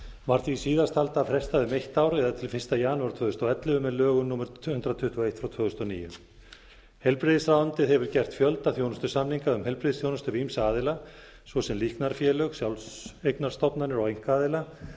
var því síðasttalda frestað um eitt ár eða til fyrsta janúar tvö þúsund og ellefu með lögum númer hundrað tuttugu og eitt tvö þúsund og níu heilbrigðisráðuneytið hefur gert fjölda þjónustusamninga um heilbrigðisþjónustu við ýmsa aðila svo sem líknarfélög sjálfseignarstofnanir og einkaaðila